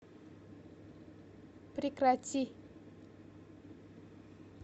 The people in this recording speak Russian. прекрати